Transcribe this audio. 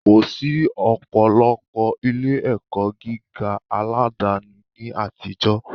Kò sí ọ̀pọ̀lọpọ̀ ilé - ẹ̀kọ́ gíga aládani ní àtijọ́